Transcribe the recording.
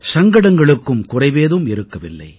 சங்கடங்களுக்கும் குறைவேதும் இருக்கவில்லை